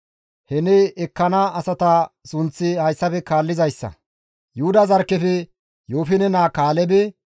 He ne ekkana asata sunththi hayssafe kaallizayssa; Yuhuda zarkkefe Yoofine naa Kaalebe,